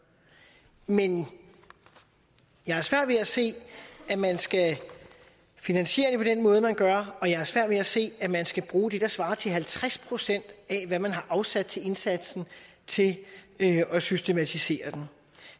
men jeg har svært ved at se at man skal finansiere det på den måde man gør og jeg har svært ved at se at man skal bruge det der svarer til halvtreds procent af hvad man har afsat til indsatsen til at systematisere den